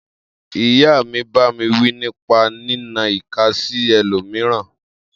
Iya mi bàmí wi nípà ni nà ìká sí ẹlómíràn